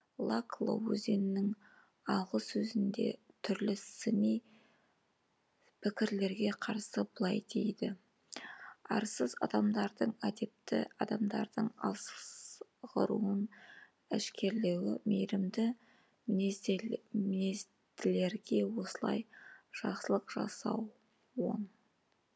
лакло өзінің алғы сөзінде түрлі сыни пікірлерге қарсы былай дейді арсыз адамдардың әдепті адамдардың азғыруын әшкерелеу мейірімді мінезділерге осылай жақсылық жасау он